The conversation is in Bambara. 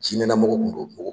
Jiɲɛna mɔgɔ kun don